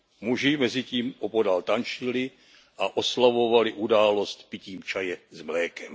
Muži mezitím opodál tančili a oslavovali událost pitím čaje s mlékem.